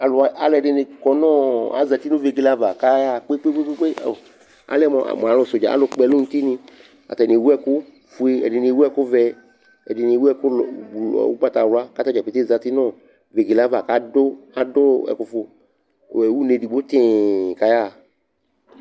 Alʋ wa alʋɛdɩnɩ kɔ nʋ ɔ azati nʋ vegele ava kʋ ayaɣa kpe-kpe-kpe ao alɛ mʋ alʋsɛʋdza, alʋkpɔɛlʋnutinɩ Atanɩ ewu ɛkʋfue, ɛdɩnɩ ewuvɛ, ɛdɩnɩ ewunɔ bl ɔ ʋgbatawla kʋ ata dza pete zati nʋ ɔ vegele yɛ ava kʋ adʋ adʋ ɛkʋfʋ ɛ une edigbo tɩɩ kʋ ayaɣa